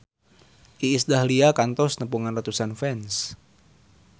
Iis Dahlia kantos nepungan ratusan fans